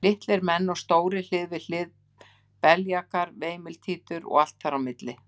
Litlir menn og stórir hlið við hlið, beljakar og veimiltítur og allt þar á milli.